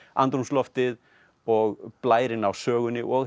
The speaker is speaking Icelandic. andrúmsloftið og blærinn á sögunni og